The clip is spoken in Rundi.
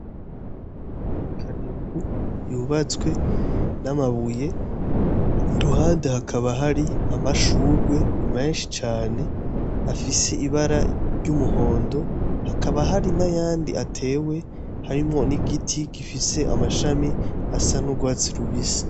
Ikanevu yubatswe n'amabuye iruhande hakaba hari amashurwe menshi cane afise ibara ry'umuhondo hakaba hari n'ayandi atewe harimwo n'igiti gifise amashami asa n'urwatsi rubisi.